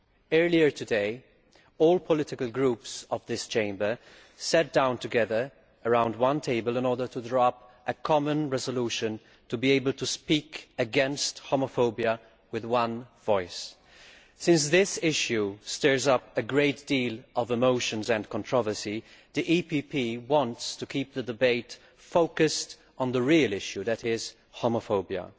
Earlier today, all the political groups of this Chamber sat down together around one table to draw up a common resolution, in order to be able to speak against homophobia with one voice. Since this issue stirs up a great deal of emotion and controversy, the EPP wants to keep the debate focused on the real issue that is, homophobia.